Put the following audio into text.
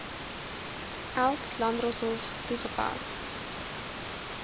eld landdroshof toegepas